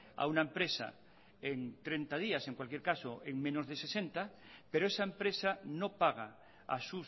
a una empresa en treinta días en cualquier caso en menos de sesenta pero esa empresa no paga a